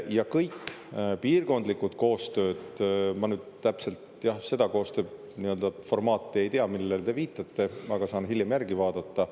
Ma nüüd täpselt seda koostööformaati ei tea, millele te viitasite, aga saan hiljem järgi vaadata.